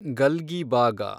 ಗಲ್ಗಿಬಾಗ